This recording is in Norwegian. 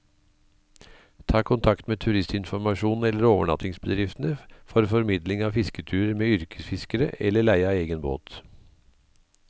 Ta kontakt med turistinformasjonen eller overnattingsbedriftene for formidling av fisketurer med yrkesfiskere, eller leie av egen båt.